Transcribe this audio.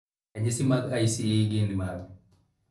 ranyisi mag ICE gin mage?